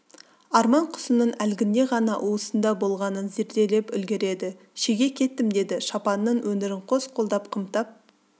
арман құсының әлгінде ғана уысында болғанын зерделеп үлгерді шеге кеттім деді шапанының өңірін қос қолдап қымтап